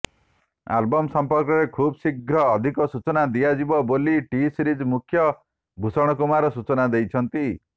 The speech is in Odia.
ଆଲବମ୍ ସମ୍ପର୍କରେ ଖୁବ୍ଶୀଘ୍ର ଅଧିକ ସୂଚନା ଦିଆଯିବ ବୋଲି ଟି ସିରିଜ୍ ମୁଖ୍ୟ ଭୂଷଣ କୁମାର ସୂଚନା ଦେଇଛନ୍ତି